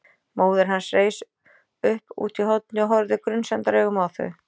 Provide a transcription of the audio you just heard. Móðir hans reis upp útí horni og horfði grunsemdaraugum á þau.